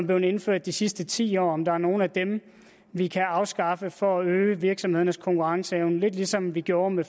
blevet indført de sidste ti år altså om der er nogle af dem vi kan afskaffe for at øge virksomhedernes konkurrenceevne lidt ligesom vi gjorde med